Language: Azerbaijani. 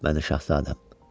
Öp məni şahzadəm.